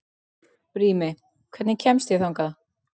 Brími, hvernig kemst ég þangað?